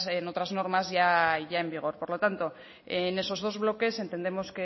en otras normas ya en vigor por lo tanto en esos dos bloques entendemos